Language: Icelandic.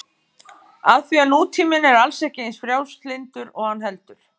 Af því að nútíminn er alls ekki eins frjálslyndur og hann heldur.